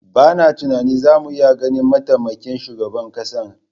Bana tunanin zamu iya ganin mataimakin shugaban ƙasar.